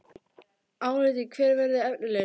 Álitið: Hver verður efnilegastur?